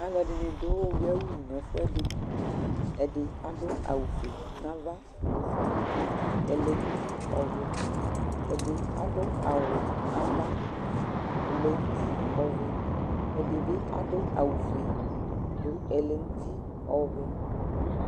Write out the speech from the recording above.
Alɔdɩnɩ dʊ ʊlʊia wʊ nɛ ɛfʊɛdɩ Ɛdɩ aɗʊ awʊ fʊé nava, ofʊé nʊtɩ, ɛlɛ nʊtɩ, ɛdɩ adʊ awʊ wʊɛ nava Ɛlɛ nʊtɩ Ɛdɩbɩ adʊ awʊ fʊé nʊ ɛlɛ nʊ ʊti ɔʋɛ